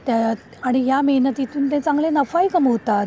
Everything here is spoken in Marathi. आणि या मेहनतीतून ते चांगले नफा ही कमावतात.